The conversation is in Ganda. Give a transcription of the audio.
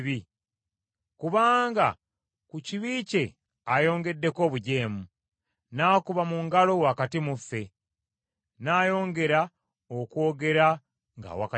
Kubanga ku kibi kye ayongeddeko obujeemu, n’akuba mu ngalo wakati mu ffe, n’ayongera okwogera ng’awakanya Katonda.”